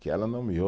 Que ela não me